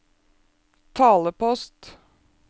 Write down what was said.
talepost